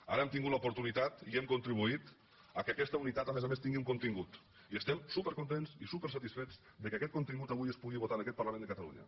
ara hem tingut l’oportunitat i hem contribuït al fet que aquesta unitat a més a més tingui un contingut i estem supercontents i supersatisfets que aquest contingut avui es pugui votar en aquest parlament de catalunya